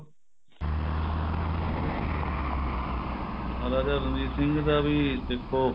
ਮਹਾਰਾਜਾ ਰਣਜੀਤ ਸਿੰਘ ਦਾ ਵੀ ਦੇਖੋ